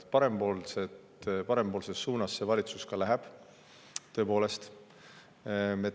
Parempoolses suunas see valitsus tõepoolest läheb.